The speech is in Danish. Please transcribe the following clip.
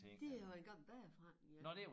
Det har været en gammel bagerforretning ja